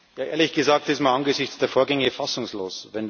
Ehrlich gesagt, ist man angesichts der Vorgänge fassungslos.